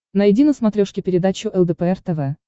найди на смотрешке передачу лдпр тв